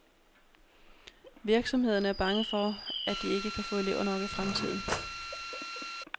Virksomhederne er bange for, at de ikke kan få elever nok i fremtiden.